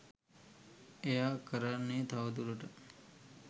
එයා කරන්නේ තවදුරටත්